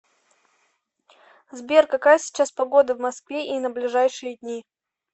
сбер какая сейчас погода в москве и на ближайшие дни